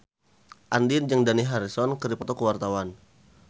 Andien jeung Dani Harrison keur dipoto ku wartawan